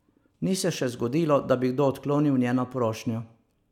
Ni se še zgodilo, da bi kdo odklonil njeno prošnjo.